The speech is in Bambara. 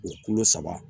O kolo saba